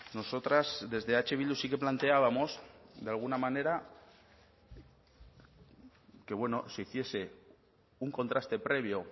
nosotras desde eh bildu sí que planteábamos de alguna manera que bueno se hiciese un contraste previo